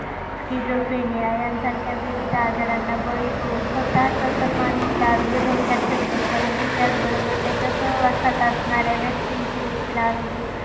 Schizophrenia यांसारख्या विविध आजारांना बळी पडून स्वतःच तर मानसिक आरोग्य धोक्यात ठेवतो परंतु त्यात बरोबर त्याच्या सहवासात असणाऱ्या व्यक्तींचे देखील आरोग्य